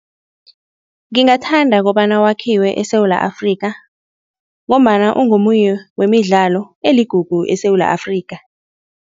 Ngingathanda kobana wakhiwe eSewula Afrikha ngombana ungomunye wemidlalo eligugu eSewula Afrikha.